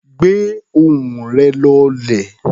Gbé ohùn rẹ̀ lọlẹ̀.